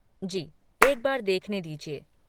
जी, एक बार देखने दीजिए।